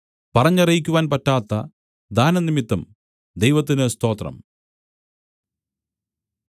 പറഞ്ഞറിയിക്കുവാൻ പറ്റാത്ത ദാനം നിമിത്തം ദൈവത്തിന് സ്തോത്രം